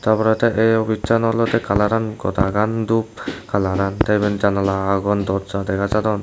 ta porey tey obissan olodey kalaran godagan duo kalaran te iben janala agon dorja dega jadon.